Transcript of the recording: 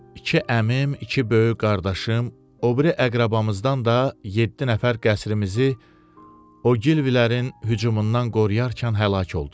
İki əmim, iki böyük qardaşım, o biri əqrəbamızdan da yeddi nəfər qəsrimizi o Gilvilərin hücumundan qoruyarkən həlak oldular.